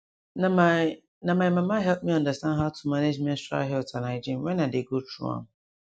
na my na my mama help me understand how to manage menstrual health and hygiene wen i dey go through am